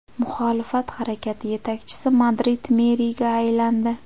Muxolifat harakati yetakchisi Madrid meriga aylandi.